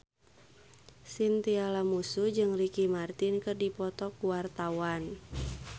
Chintya Lamusu jeung Ricky Martin keur dipoto ku wartawan